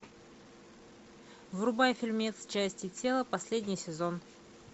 врубай фильмец части тела последний сезон